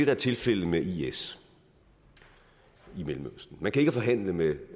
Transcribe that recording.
er tilfældet med is i mellemøsten man kan ikke forhandle med